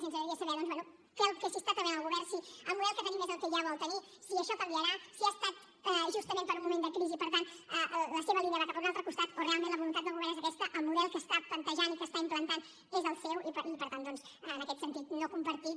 i ens agradaria saber doncs bé si hi està treballant el govern si el model que tenim és el que ja vol tenir si això canviarà si ha estat justament per un moment de crisi i per tant la seva línia va cap a un altre costat o si realment la voluntat del govern és aquesta el model que està plantejant i que està implantant és el seu i per tant doncs en aquest sentit no compartit